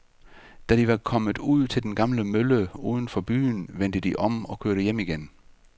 Da de var kommet ud til den gamle mølle uden for byen, vendte de om og kørte hjem igen.